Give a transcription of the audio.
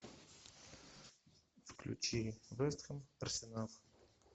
включи вест хэм арсенал